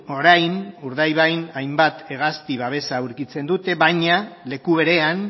orain urdaibain hainbat hegazti babesa aurkitzen dute baina leku berean